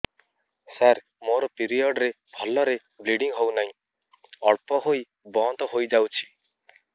ସାର ମୋର ପିରିଅଡ଼ ରେ ଭଲରେ ବ୍ଲିଡ଼ିଙ୍ଗ ହଉନାହିଁ ଅଳ୍ପ ହୋଇ ବନ୍ଦ ହୋଇଯାଉଛି